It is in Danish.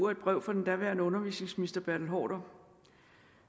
et brev fra den daværende undervisningsminister bertel haarder